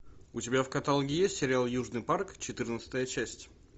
у тебя в каталоге есть сериал южный парк четырнадцатая часть